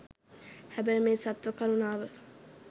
හැබැයි මේ සත්ව කරුණාව